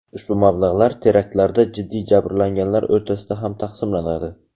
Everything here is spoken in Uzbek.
Ushbu mablag‘lar teraktlarda jiddiy jabrlanganlar o‘rtasida ham taqsimlanadi.